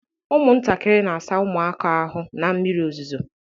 Ụmụntakịrị na-asa ụmụaka ahụ na mmiri ozuzo